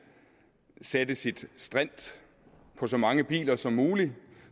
sætte sit strint på så mange biler som muligt